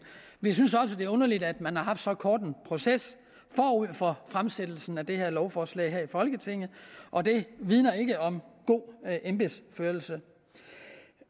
vi synes også det er underligt at man har haft så kort en proces forud for fremsættelsen af det her lovforslag her i folketinget og det vidner ikke om god embedsførelse